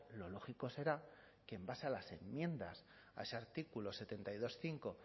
lo lógico será que en base a las enmiendas a ese artículo setenta y dos punto cinco